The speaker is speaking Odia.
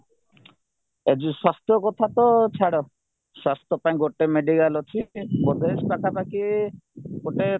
ଏ ଯୋଉ ସ୍ୱାସ୍ଥ୍ୟ କଥାତ ଛାଡ ସ୍ୱାସ୍ଥ୍ୟ ପାଇଁ ଗୋଟେ medical ଅଛି ବୋଧେ ପାଖା ପାଖି ଗୋଟେ